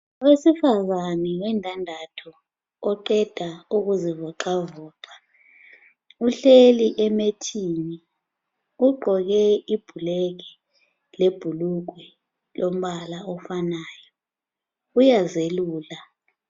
Owesifazani wendandathu oqeda ukuzivoqavoqa. Uhleli emethini. Ugqoke ibhulekhi lebhulugwe lombala ofanayo, uyazelula.